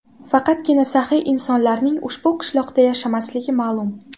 Faqatgina saxiy insonlarning ushbu qishloqda yashamasligi ma’lum.